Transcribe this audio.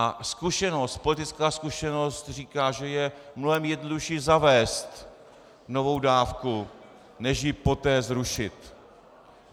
A zkušenost, politická zkušenost říká, že je mnohem jednodušší zavést novou dávku než ji poté zrušit.